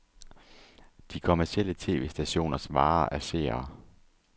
De kommercielle tv-stationers vare er seere.